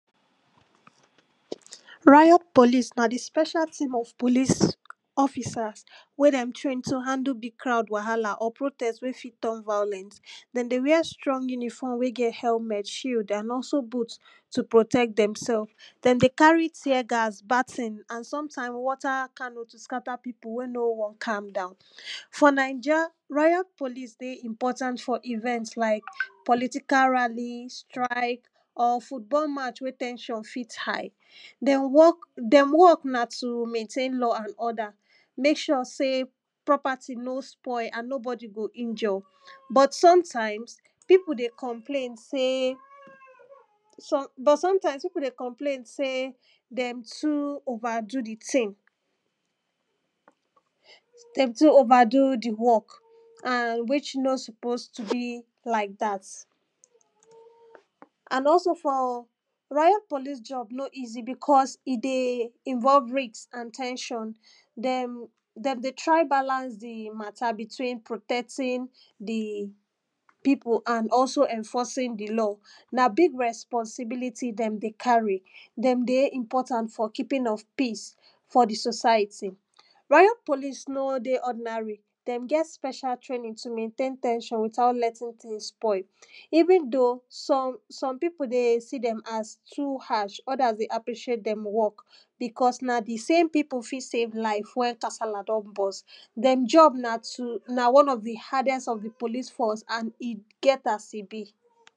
Riot police na di special team of police officers wey dem train to handle di crowd wahala or protest wey fit turn violent. Den dey wear strong uniform wey get helment, shield and also boot to protect dem sef, dem dey carry tear gas, baton and sometimes water cannon to scatter pipu wey no wan calm down. For naija, riot police dey important for event like political rally, strike or football match wey ten sion fit high. Dem work, dem work na to maintain law and order, mek sure sey property no spoil and nobody go injure, but sometimes, pipu dey complain sey, but sometimes pipu dey complain sey dem too overdo di thing, dem too overdo di work and which no suppose to be like dat. And also for riot police job no easy because e dey involve risk and ten sion, dem, dem dey try balance di matter between protecting di pipu and also enforcing di law. Na big responsibility dem dey carry, dem dey important for keeping of peace for di society. Riot police no dey ordinary, dem get special training to maintain ten sion without letting things spoil. Even though some, some pipo dey see dem as too harsh, others dey appreciate dem work because na the same pipu fit save life when kasala don burst dem job na to, na one of di hardest of di police force and e get as e be.